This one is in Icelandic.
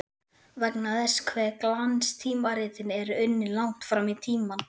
Vegna þess hve glanstímaritin eru unnin langt fram í tímann.